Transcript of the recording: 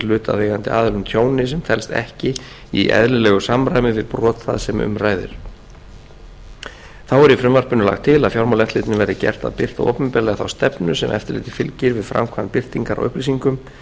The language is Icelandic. hlutaðeigandi aðilum tjóni sem telst ekki í eðlilegu samræmi við brot það sem um ræðir þá er í frumvarpinu lagt til að fjármálaeftirlitinu verði gert að birta opinberlega þá stefnu sem eftirlitið fylgir við framkvæmd birtingar á upplýsingum